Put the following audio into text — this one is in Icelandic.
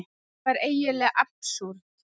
Þetta var eiginlega absúrd.